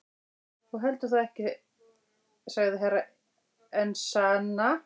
Þú heldur þó ekki sagði Herra Enzana.